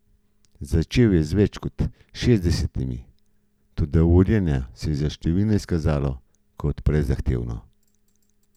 Začel je z več kot šestdesetimi, toda urjenje se je za številne izkazalo kot prezahtevno.